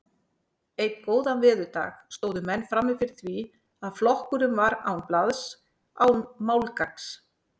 Einn góðan veðurdag stóðu menn frammi fyrir því að flokkurinn var án blaðs, án málgagns.